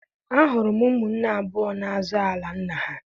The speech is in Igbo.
Ahụrụ m ụmụnne abụọ na-azọ ala nna ha